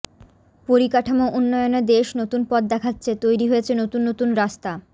পরিকাঠামো উন্নয়নে দেশ নতুন পথ দেখাচ্ছে তৈরি হয়েছে নতুন নতুন রাস্তা